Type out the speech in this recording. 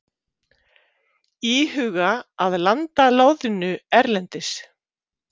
Íhuga að landa loðnu erlendis